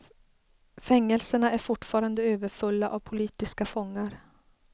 Fängelserna är fortfarande överfulla av politiska fångar.